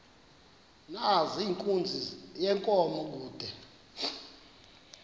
nezenkunzi yenkomo kude